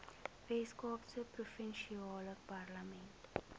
weskaapse provinsiale parlement